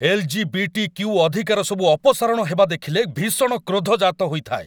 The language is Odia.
ଏଲ୍.ଜି.ବି.ଟି.କ୍ୟୁ. ଅଧିକାରସବୁ ଅପସାରଣ ହେବା ଦେଖିଲେ ଭୀଷଣ କ୍ରୋଧ ଜାତହୋଇଥାଏ।